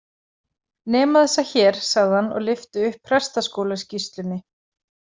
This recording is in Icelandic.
Nema þessa hér, sagði hann og lyfti upp Prestaskólaskýrslunni.